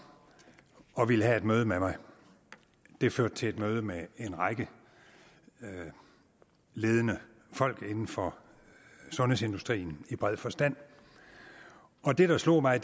og ville have et møde med mig det førte til et møde med en række ledende folk inden for sundhedsindustrien i bred forstand og det der slog mig